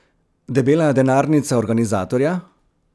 Debela denarnica organizatorja?